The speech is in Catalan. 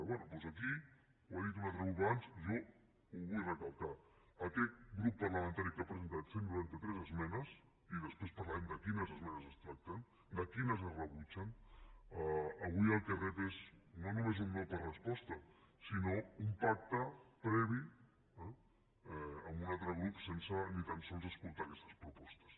bé doncs aquí ho ha dit un altre grup abans jo ho vull recalcar aquest grup parlamentari que ha presentat cent i noranta tres esmenes i després parlarem de quines esmenes es tracta de quines es rebutgen avui el que rep és no només un no per resposta sinó un pacte previ amb un altre grup sense ni tan sols escoltar aquestes propostes